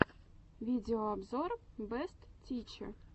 видеообзор бэст тиче